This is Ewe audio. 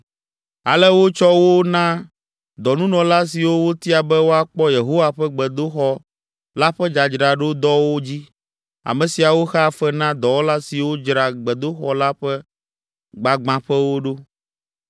Ale wotsɔ wo na dɔnunɔla siwo wotia be woakpɔ Yehowa ƒe gbedoxɔ la ƒe dzadzraɖodɔwo dzi. Ame siawo xea fe na dɔwɔla siwo dzra gbedoxɔ la ƒe gbagbãƒewo ɖo.